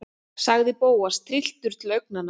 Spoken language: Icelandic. sagði Bóas, trylltur til augnanna.